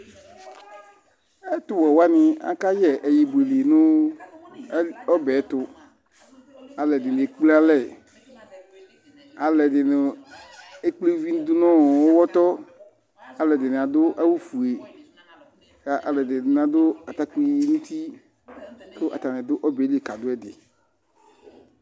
Ɛtuwɛwaŋi akayɛ aɣiɖiŋi ŋu ɔbɛtu Alʋɛdìní ekple alɛ Alʋɛdìní ekple ʋvi ɖʋŋʋ ʋwɔtɔ Alʋɛdìní aɖʋ awu fʋe Alʋɛdìní bi aɖu atakpi ŋʋ uti kʋ ataŋi aɖʋ ɔbɛli kaɖʋɛɖi